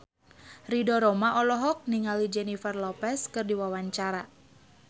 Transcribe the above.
Ridho Roma olohok ningali Jennifer Lopez keur diwawancara